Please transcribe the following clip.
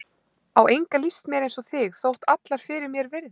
Á enga líst mér eins og þig, þótt allar fyrir mér virði.